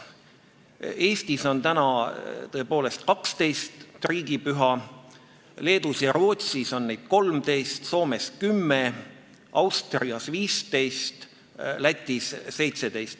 Eestis on tõepoolest 12 riigipüha, Leedus ja Rootsis on neid 13, Soomes 10, Austrias 15, Lätis 17.